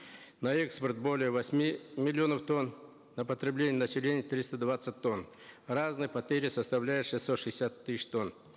на экспорт более восьми миллионов тонн на потребление населения триста двадцать тонн разные портфели составляют шестьсот шестьдесят тысяч тонн